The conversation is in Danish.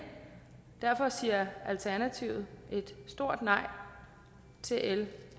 derfor siger alternativet et stort nej til l